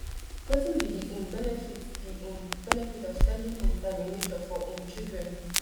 wetin be di um benefit di um benefit of spending um time in nature for um children